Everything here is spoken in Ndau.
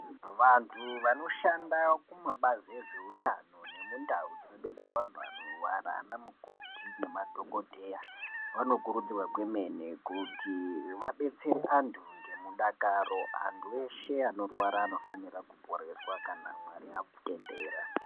Vantu vanoshanda kumabazi ezveutano nemundau dzinobetsera vanhu vanorwara vana mukoti nemadhokoteya vanokuruudzirwa kwemene kuti vabetsere antu nemudakaro, antu eshe anorwara anofanirwa kuporeswa kna Mwari atendera.